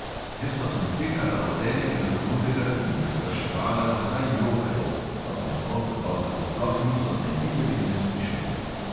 Jaz pa sem tekala od enega do drugega in jih spraševala, zakaj jokajo, pa me, o groza, sploh niso ne videli ne slišali.